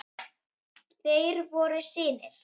Þeir voru synir